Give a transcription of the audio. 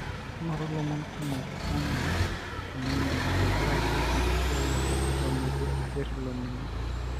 ingoru ilomon kumok ena enindim tenkaraki enkisiyiata eton etu isir olningo.